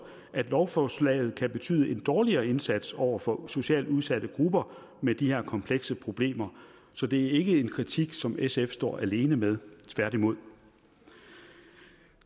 at lovforslaget kan betyde en dårligere indsats over for socialt udsatte grupper med de her komplekse problemer så det er ikke en kritik som sf står alene med tværtimod